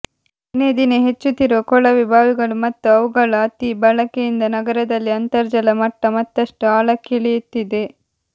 ದಿನೇ ದಿನೇ ಹೆಚ್ಚುತ್ತಿರುವ ಕೊಳವೆ ಬಾವಿಗಳು ಮತ್ತು ಅವುಗಳ ಅತಿ ಬಳಕೆಯಿಂದ ನಗರದಲ್ಲಿ ಅಂತರ್ಜಲ ಮಟ್ಟ ಮತ್ತಷ್ಟು ಆಳಕ್ಕಿಳಿಯುತ್ತಿದೆ